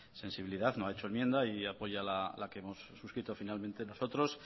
sensibilidad no ha hecho enmienda y apoya la que hemos suscrito finalmente nosotros